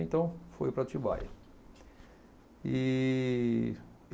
Então, foi para Atibaia. E